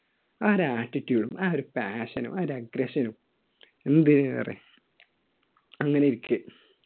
ആ ഒരു attittude, ആ ഒരു passion നും, ആ ഒരു agression നും. എന്തിനേറെ? അങ്ങനെയിരിക്കെ